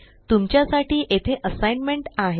तुमच्यासाठी येथे असाइनमेंट आहे